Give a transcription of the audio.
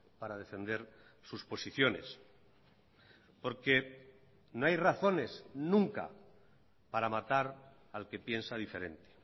para defender sus posiciones porque no hay razones nunca para matar al que piensa diferente